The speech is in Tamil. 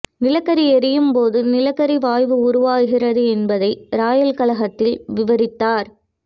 நிலக்கரி எரியும்போது நிலக்கரி வாயு உருவாகிறது என்பதை இராயல் கழகத்தில் விவரித்தார்